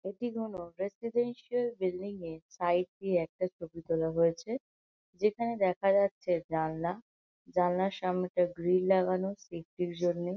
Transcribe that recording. এটি কোন residential building -এর সাইড দিয়ে একটা ছবি তোলা হয়েছে যেখানে দেখা যাচ্ছে জানলা জানলার সামনেটা গ্রিল লাগানো সেফটি -র জন্য।